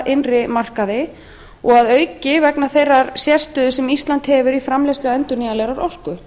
innri markaði og að auki vegna þeirrar sérstöðu sem ísland hefur í framleiðslu endurnýjanlegrar orku